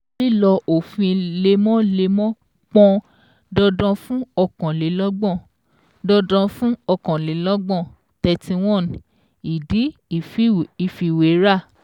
Lílọ òfin lemọ́lemọ́ pọn dandan fun ọ̀kànlélọ́gbọ̀n dandan fun ọ̀kànlélọ́gbọ̀n (31) ìdí ìfiwéra